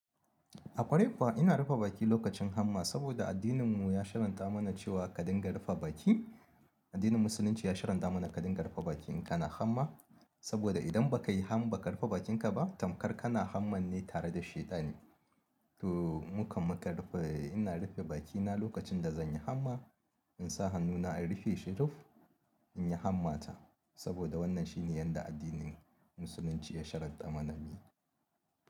A kwarai kuwa in arufe baki lokacin hamma saboda addininmu ya sharradan mana cewa karin ka rufe baki addinin muslunci ya sharhantaman ka ringa rufe baki idan kana hamma saboda idan baka rufe bakinka ba tamkar kana hammar ne tare da shaidani to mukan makan rufe, ina rufe bakina lokacin da zan yi hamma, in sa hannuna in rufe shi ruf in yi hammata. Saboda wannan shine yadda addinin musulunci ya shiranta mana mu yi.